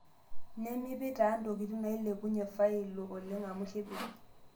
Nemipik taa ntokitin naailepunye falio oleng amu kepej.